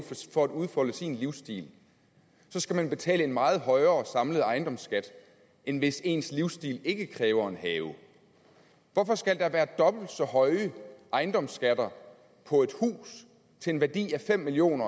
for at udfolde sin livsstil skal man betale en meget højere samlet ejendomsskat end hvis ens livsstil ikke kræver en have hvorfor skal der være dobbelt så høje ejendomsskatter på et hus til en værdi af fem million